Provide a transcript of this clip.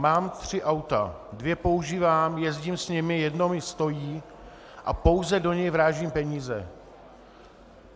Mám tři auta, dvě používám, jezdím s nimi, jedno mi stojí a pouze do něj vrážím peníze.